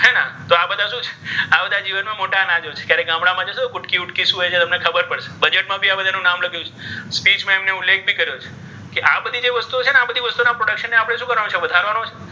આ બધા જીવનમાં મોટા અનાજો છે. ક્યારેક ગામડામાં જજો કુટકી વૂડકી શું હોય છે? તમને ખબર પડશે. બજેટમાં પણ આ બધાનું નામ લખ્યું છે. speech માં એમણે ઉલ્લેખ ભી કર્યો છે. કે આ બધી જે વસ્તુઓ છે ને આ બધી વસ્તુઓ ના production ને આપણે શું કરવાનું છે? વધારવાનું છે.